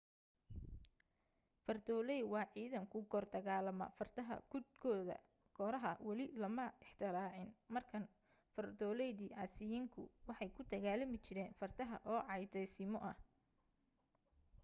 fardoolay waa ciidan ku kor dagaalama fardaha guudkooda kooraha weli lama ikhtiraacin markaan fardooladii asiiriyaanku waxay ku dagaalami jireen fardaha oo caddaysimo ah